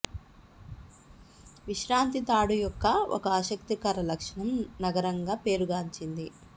విశ్రాంతి తాడు యొక్క ఒక ఆసక్తికర లక్షణం నగరంగా పేరు గాంచింది